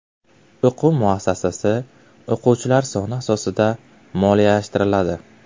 O‘quv muassasasi o‘quvchilar soni asosida moliyalashtiriladi.